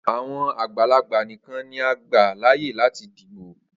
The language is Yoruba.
Awọn agbalagba nikan ni a gba laaye lati dibo.